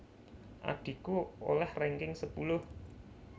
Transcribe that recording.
Adhiku oleh ranking sepuluh